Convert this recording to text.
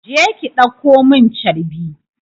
Je ki ɗauko mun carbi!